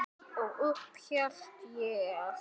Og upp hélt ég.